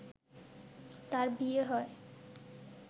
তার বিয়ে হয়